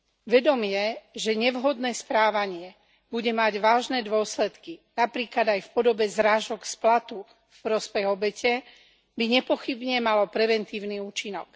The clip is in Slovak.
Vedomie, že nevhodné správanie bude mať vážne dôsledky, napríklad aj v podobe zrážok z platu v prospech obete, by nepochybne malo preventívny účinok.